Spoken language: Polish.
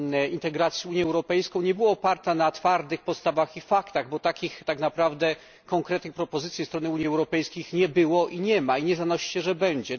integracji z Unią Europejską, nie była oparta na twardych postawach i faktach, bo takich naprawdę konkretnych propozycji ze strony Unii Europejskiej nie było, nie ma i nie zanosi się, że będzie.